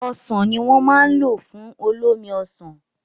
Ọsàn ní wọ́n ma lò fún olómi Ọsàn